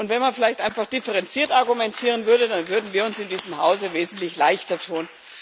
Und wenn man vielleicht einfach differenziert argumentieren würde, dann würden wir uns in diesem Hause wesentlich leichter tun.